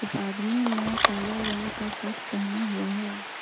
इस आदमी ने काला रंग का शर्ट पहना हुआ है।